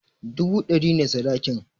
Dubu ɗari ne sadakin